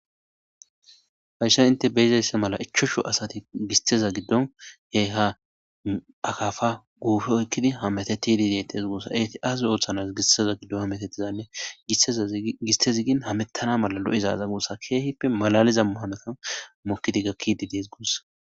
Taysha enththe be7izayssa mala; ichchashu asati gisththeza giddon eehahaa akaafa guufe oykkidi hemetheththiidde deetthes guussa; azo otona gisththe hametheththidanne gisththezi gin hameththana mala lo7zaaza guussa keehippe malaaliza hanothan mokkide gakkidde des guussa.